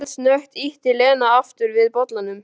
Eldsnöggt ýtti Lena aftur við bollanum.